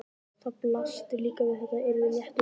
Það blasti líka við að þetta yrði léttur leikur.